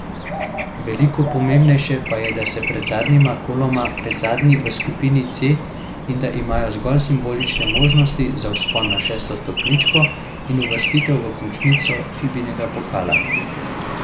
Veliko pomembnejše pa je, da so pred zadnjima koloma predzadnji v skupini C in da imajo zgolj simbolične možnosti za vzpon na šesto stopničko in uvrstitev v končnico Fibinega pokala.